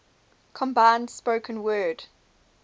combined spoken word